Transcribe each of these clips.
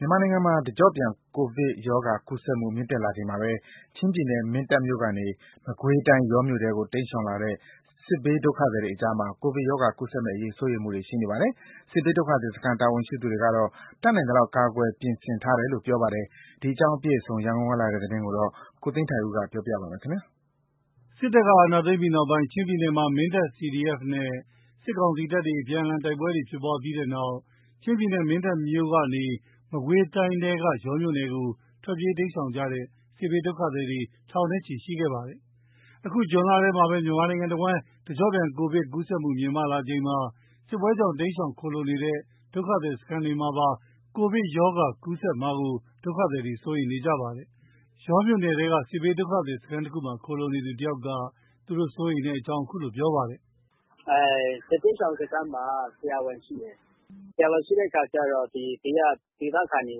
မြန်မာနိုင်ငံမှာ တကျော့ပြန် ကိုဗစ်ရောဂါ ကူးစက်မှုတွေ မြင့်တက်လာချိန်မှာပဲ ချင်းပြည်နယ် မင်းတပ်မြို့ကနေ မကွေးတိုင်း ယောမြို့နယ်ထဲကို တိမ်းရှောင်လာတဲ့ စစ်ဘေးဒုက္ခသည်တွေကြားမှာ ကိုဗစ်ကပ်ရောဂါကူးစက်မယ့် စိုးရိမ်မှုတွေ ရှိနေကြပါတယ်။ စစ်ဘေးဒုက္ခသည်စခန်း တာဝန်ရှိသူတွေကတော့ တတ်နိုင် သလောက် ကာကွယ် ပြင်ဆင်ထားတယ်လို့ ပြောပါတယ်။ ဒီအကြောင်း အပြည့်အစုံ ရန်ကုန်ကလာတဲ့ သတင်းကို ကိုသိန်းထိုက်ဦး ပြောပြပါမယ်။ စစ်တပ်က အာဏာသိမ်းပြီးနောက်ပိုင်း ချင်းပြည်နယ်မှာ မင်းတပ် CDF နဲ့ စစ်ကောင်စီတပ်တွေ အပြန်အလှန် တိုက်ပွဲတွေဖြစ်ပြီးတဲ့နောက် ချင်းပြည်နယ် မင်းတပ်မြို့ကနေ မကွေးတိုင်းထဲက ယောမြို့နယ်ကို ထွက်ပြေးတိမ်းရှောင် ကြတဲ့ စစ်ဘေး ဒုက္ခသည်တွေ ထောင်နဲ့ချီရှိခဲ့ပါတယ်။ အခု ဇွန်လထဲမှာပဲ မြန်မာနိုင်ငံတဝှမ်း တကျော့ပြန် ကိုဗစ်ကူးစက်မှု မြင့်တက်လာချိန်မှာ စစ်ပွဲကြောင့် တိမ်းရှောင် ခိုလှုံနေရတဲ့ ဒုက္ခသည်စခန်းတွေမှာပါ ကိုဗစ်ကပ်ရောဂါ ပျံ့နှံ့ ကူးစက်မှာကို ဒုက္ခသည်တွေ စိုးရိမ်နေကြပါတယ်။ ယောမြို့နယ်ထဲက စစ်ဘေးဒုက္ခသည် စခန်းတခုမှာ ခိုလှုံနေရသူတယောက်က သူတို့ စိုးရိမ်မှုကို ခုလိုပြောပြပါတယ်။ “စစ်ဘေးရှောင်စခန်းမှာ ဆရာဝန်ရှိတယ်။ ဆရာဝန်ရှိတဲ့အခါကျတော့ ဒေသခံတွေ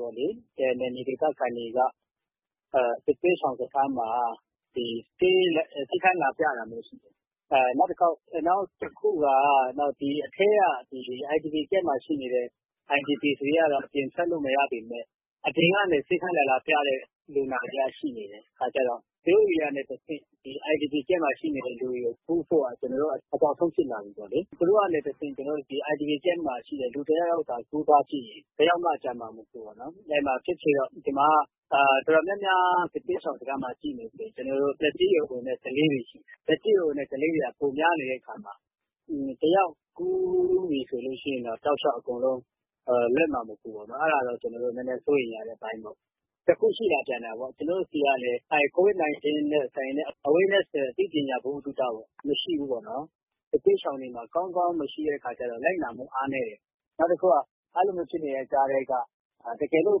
ပေါ့လေ နယ်မြေဒေသခံတွေက စစ်ဘေးရှောင်စခန်းမှာ ဆေးခန်းလာပြတာမျိုးရှိတယ်။ နောက်တခုက အထဲက IDP Camp မှာ ရှိနေတဲ့ IDP တွေက အပြင်ထွက်လို့မရပေမယ့် အပြင်ကနေ ဆေးခန်းလာလာပြတဲ့ လူနာတွေက ရှိနေတဲ့အခါကျတော့ သူတို့တွေကနေတဆင့် IDP Camp မှာရှိနေတဲ့ လူတွေကို ကူးမှာ အကြောက်ဆုံး ဖြစ်လာပြီပေါ့လေ။ သူတို့ဆီကနေတဆင့် IDP Camp မှာရှိတဲ့ လူတယောက်သာ ကူးသွားခဲ့မယ်ဆိုရင် တယောက်မှ ကျန်မှာ မဟုတ်ဘူးပေါ့နော်။ ဒီမှာက စစ်ဘေးရှောင်စခန်းမှာရှိနေတာက သက်ကြီးရွယ်အိုနဲ့ ကလေးတွေရှိတယ်။ သက်ကြီးရွယ်အိုနဲ့ ကလေးတွေက ပိုများနေတဲ့အခါမှာ တယောက်ကူးပြီဆိုရင်တော့ တောက်လျှောက် အကုန်လွတ်မှာ မဟုတ်ဘူးပေါ့နော်။ အဲ့ဒါတော့ နည်းနည်းစိုးရိမ်ရတဲ့အပိုင်းပေါ့။ တခုရှိလာပြန်တာကလည်း Covid 19 နဲ့ ဆိုင်တဲ့ အသိပညာ ဗဟုသုတ မရှိဘူးပေါ့နော်။ စစ်ဘေးရှောင်တွေမှာ ကောင်းကောင်း မရှိတဲ့အခါကျတော့ လိုက်နာမှုအားနည်းတယ်။ နောက်တခုက အဲ့လိုမျိုး ဖြစ်နေတဲ့ကြားထဲက တကယ်လို့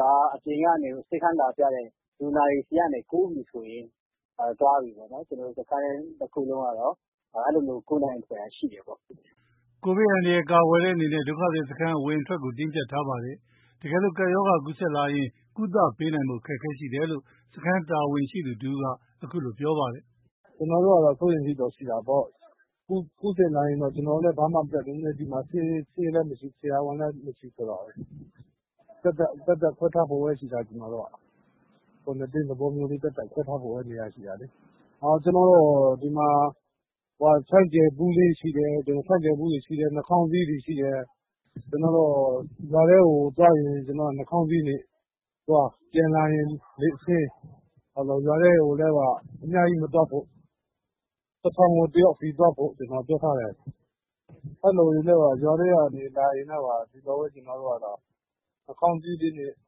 သာ အပြင်ကနေ ေ ဆးခန်းလာပြတဲ့ လူနာတွေဆီကနေ ကူးပြီဆိုရင် သွားပြီပေါ့ ကျွန်တော်တို့ စခန်းတခုလုံးက ကူးနိုင်စရာ အကြောင်းရှိတယ်။” ကိုဗစ်အန္တရာယ်ကာကွယ်တဲ့အနေနဲ့ ဒုက္ခသည် စခန်းအဝင်အထွက်ကို တင်းကြပ်ထားပါတယ်။ တကယ်လို့ ကပ်ရောဂါ ကူးစက်လာရင်တော့ ကုသဖို့ ပေးနိုင်ဖို့ အခက်အခဲရှိတယ်လို့ စခန်းတာဝန်ခံတဦးက အခုလိုပြောပါတယ်။ “ကျွန်တော်တို့က စိုးရိမ်စိတ်တော့ရှိတာပေါ့။ ကူးစက်လာရင် ကျွန်တော်တို့လည်း ဘာမှ မတတ်နိုင်ဘူး။ ဒီမှာ ဆေးလည်းမရှိ ဆရာဝန်လည်း မရှိဆိုတော့။ သတ်သတ်ခွဲထားဖို့ပဲရှိတာ ကွာရတင်းသဘောမျိုး သတ်သတ် ခွဲထားဖို့ပဲနေရာရှိတာ။ ကျွန်တော်တို့ ဒီမှာ ဟန်းဂျဲလ်ဘူးလေးရှိတယ်။ နှာခေါင်းစည်းတွေရှိတယ်။ ရွာထဲကို သွားရင် နှာခေါင်းစည်းနဲ့သွား ပြန်လာရင် လက်ဆေး ရွာထဲကိုလည်း အများကြီးမသွားဖို့ ၁ ဆောင်ကို ၁ ယောက်စီ သွားဖို့ ပြောထားတယ်။ အဲ့လိုပဲ ရွာထဲကလာရင်လည်း နှာခေါင်းစည်းတွေ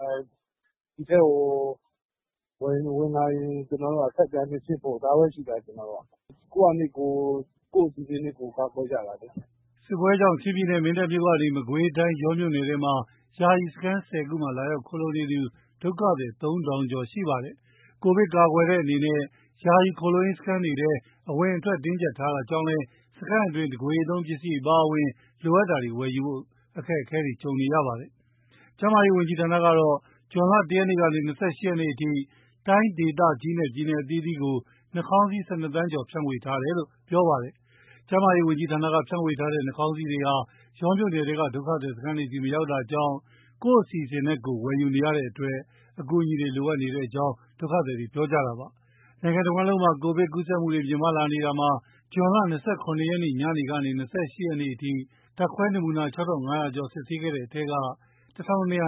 နဲ့ ဒီထဲကို ဝင်လာရင် ဆပ်ပြာနဲ့ဆေးဖို့ ဒါပဲရှိတာ ကိုယ့်အစီစဉ်နဲ့ ကိုယ်ဒါပဲရှိတာလေ။” စစ်ပွဲတွေကြောင့် ချင်းပြည်နယ် မင်းတပ်မြို့ကနေ မကွေးတိုင်း ယောမြို့နယ်ထဲက ယာယီစခန်း ၁၀ ခုမှာ လာရောက်ခိုလှုံနေသူ ဒုက္ခသည် ၃ ထောင်ကျော်ရှိပါတယ်။ ကိုဗစ်ကာကွယ်တဲ့အနေနဲ့ ယာယီခိုလှုံရေးစခန်းတွေထဲ အဝင်အထွက် တင်းကြပ်ထားတဲ့အတွက် စခန်းအတွင်း တကိုယ်ရေးသုံး ပစ္စည်းတွေအပါအဝင် လိုအပ်တာတွေ ဝယ်ယူဖို့ အခက်ကြုံနေကြပါတယ်။ ကျန်းမာရေး ဝန်ကြီးဌာနကတော့ ဇွန် ၁ ရက်ကနေ ၂၈ ရက်အထိ တိုင်းဒေသကြီးနဲ့ ပြည်နယ် အသီးသီးကို နှာခေါင်းစည်း ၁၂ သန်းကျော် ဖြန့်ဝေထားတယ်လို့ ပြောကြားထားပါတယ။် ကျန်းမာရေး ဝန်ကြီးဌာနက ဖြန့်ဝေထားတဲ့ နှာခေါင်းစည်းတွေဟာ ယောမြို့နယ်ထဲက ဒုက္ခသည် စခန်းတွေဆီ မရောက်တာကြောင့် ကိုယ့်အစီအစဉ်နဲ့ ကိုယ်ဝယ်ယူ နေရတဲ့အတွက် အကူအညီတွေလိုအပ်နေတယ်လို့ ဒုက္ခသည်တွေက ပြောပါတယ်။ နိုင်ငံတဝှမ်းလုံးမှာ ကိုဗစ်ကူးစက်တာတွေ မြင့်တက်လာနေတာမှာ ဇွန် ၂၇ ရက် ညကနေ ၂၈ ရက်ညအထိ ဓါတ်ခွဲနမူနာ ၆၅၀၀ ကျော် စစ်ဆေးခဲ့တဲ့ထဲက ၁၂၂၅ ဦး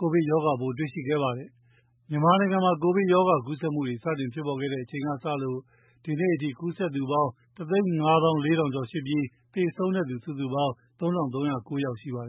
ကိုဗစ်ကပ်ရောဂါပိုးတွေ့ရှိခဲ့ပါတယ်။ မြန်မာနိုင်ငံမှာ ကိုဗစ်ကူးစက်မှု စတင်ဖြစ်ပေါ်တဲ့အချိန်က စပြီး ဒီနေ့အထိ ကူးစက်သူကတော့ ၁ သိန်း ၅ သောင်း ၄ ထောင်ကျော်ရှိပြီး သေဆုံးသူ စုစုပေါင်း ၃၃၀၉ ဦးရှိပါတယ